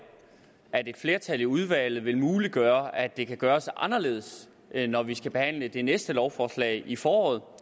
at et flertal i udvalget vil muliggøre at det kan gøres anderledes når vi skal behandle det næste lovforslag i foråret